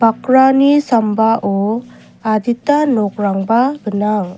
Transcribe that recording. bakrani sambao adita nokrangba gnang.